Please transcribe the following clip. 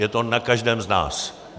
Je to na každém z nás.